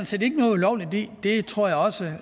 set ikke noget ulovligt i det tror jeg også